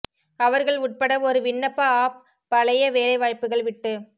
அவர்கள் உட்பட ஒரு விண்ணப்ப ஆஃப் பழைய வேலை வாய்ப்புகள் விட்டு